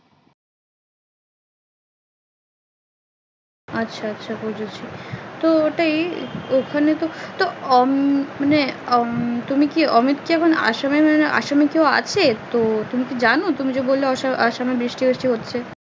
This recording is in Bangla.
আচ্ছা আচ্ছা বুঝছি তো ওটাই ওখানে তো মানে তুমি কি অমিত কি এখন আসাম এ আসামে কেউ আছে তুমি কি জানো তুমি যে বললে আসামে বৃষ্টি হচ্ছে